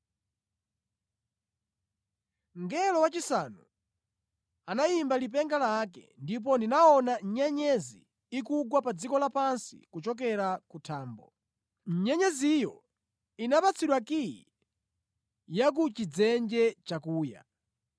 Mngelo wachisanu anayimba lipenga lake, ndipo ndinaona nyenyezi ikugwa pa dziko lapansi kuchokera ku thambo. Nyenyeziyo inapatsidwa kiyi ya ku chidzenje chakuya.